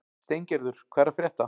Steingerður, hvað er að frétta?